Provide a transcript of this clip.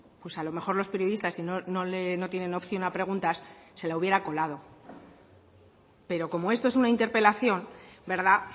pues a lo mejor los periodistas no tienen opción a preguntas se la hubiera colado pero como esto es una interpelación verdad